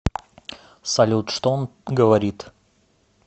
салют что он говорит